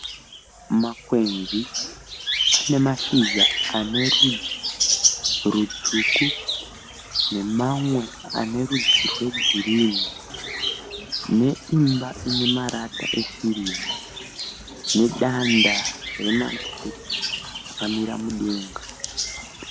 Makwenzi ane mashizha ane rudzi rutsvuku nemamwe ane rudzi rwe girini. Neimba ine marata esirivha nedanda remagetsi rakamira mudenga.